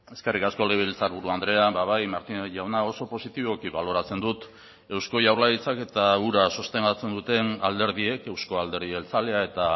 eskerrik asko legebiltzarburu andrea bai martínez jauna oso positiboki baloratzen dut eusko jaurlaritzak eta hura sostengatzen duten alderdiek eusko alderdi jeltzalea eta